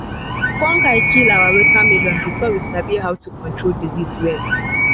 fungus kill our watermelon before we sabi how to dey control disease well.